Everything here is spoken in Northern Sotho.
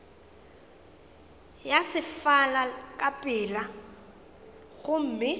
ya sefala ka pela gomme